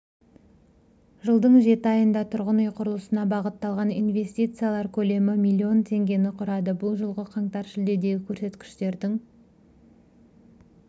жылдың жеті айында тұрғын үй құрылысына бағытталған инвестициялар көлемі млн теңгені құрады бұл жылғы қаңтар-шілдедегі көрсеткіштердің